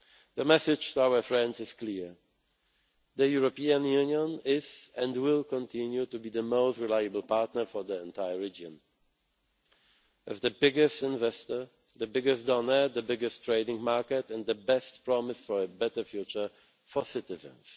May. The message to our friends is clear the European Union is, and will continue to be, the most reliable partner for the entire region, as the biggest investor, the biggest donor, the biggest trading market and the best promise for a better future for